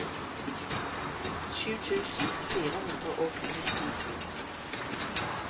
sju tusen fire hundre og nittito